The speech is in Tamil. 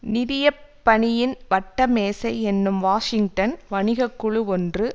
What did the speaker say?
நிதிய பணியின் வட்ட மேசை என்னும் வாஷிங்டன் வணிக குழு ஒன்று